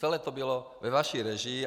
Celé to bylo ve vaší režii.